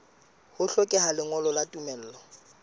ho hlokeha lengolo la tumello